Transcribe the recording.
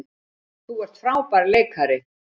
Þú ert frábær leikari.